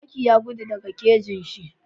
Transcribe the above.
Zaki ya gudu daka kejinshi